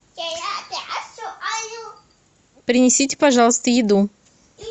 принесите пожалуйста еду